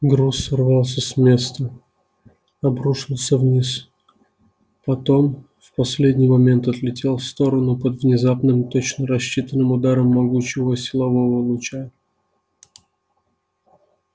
груз сорвался с места обрушился вниз потом в последний момент отлетел в сторону под внезапным точно рассчитанным ударом могучего силового луча